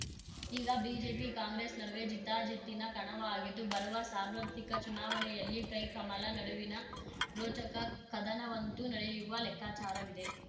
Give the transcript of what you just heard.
ಈಗ ಬಿಜೆಪಿಕಾಂಗ್ರೆಸ್‌ ನಡುವೆ ಜಿದ್ದಾಜಿದ್ದಿನ ಕಣವಾಗಿದ್ದು ಬರುವ ಸಾರ್ವತ್ರಿಕ ಚುನಾವಣೆಯಲ್ಲಿ ಕೈಕಮಲ ನಡುವಿನ ರೋಚಕ ಕದನವಂತೂ ನಡೆಯುವ ಲೆಕ್ಕಾಚಾರವಿದೆ